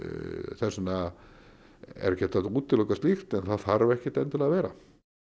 þess vegna er ekki hægt að útiloka slíkt en það þarf ekkert endilega að vera